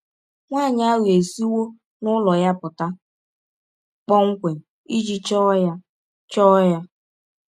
Nwanyị ahụ esiwọ n’ụlọ ya pụta kpọmkwem iji chọọ ya. chọọ ya.